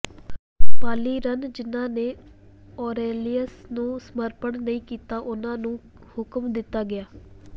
ਪਾਲੀਰਨ ਜਿਨ੍ਹਾਂ ਨੇ ਔਰੇਲਿਅਸ ਨੂੰ ਸਮਰਪਣ ਨਹੀਂ ਕੀਤਾ ਉਹਨਾਂ ਨੂੰ ਹੁਕਮ ਦਿੱਤਾ ਗਿਆ